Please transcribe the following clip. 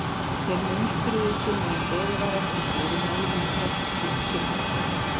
Þeir munstruðu sig meðan beðið var eftir fyrirmælum um hvert skyldi sigla.